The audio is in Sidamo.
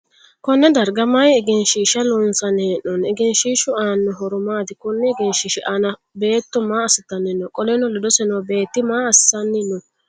Konne darga mayi egenshiisha loonsanni hee'noonni? Egenshiishu aano horo maati? Konni egenshiishi aanna beetto maa asitanni no? Qoleno ledose noo beeti maa asinni no?